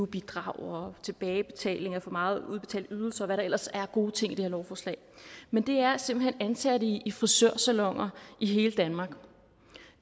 bidrag og tilbagebetaling af for meget udbetalt ydelse og hvad der ellers er af gode ting i det her lovforslag men det er simpelt hen ansatte i frisørsaloner i hele danmark